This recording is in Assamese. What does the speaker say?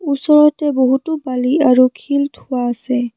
ওচৰতে বহুতো বালি আৰু শিল থোৱা আছে।